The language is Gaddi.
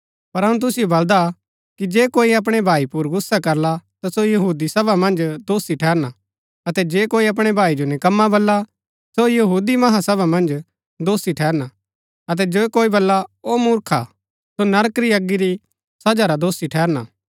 पर अऊँ तुसिओ बलदा कि जे कोई अपणै भाई पुर गुस्सा करला ता सो कचैहरी मन्ज दोषी ठहरना अतै जे कोई अपणै भाई जो निकम्मा बल्ला सो यहूदी महासभा मन्ज दोषी ठहरना अतै जे कोई बल्ला ओ मूर्खा सो नरक री अगी री सजा रा दोषी ठहरना